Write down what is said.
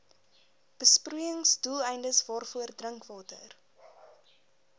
besproeiingsdoeleindes waarvoor drinkwater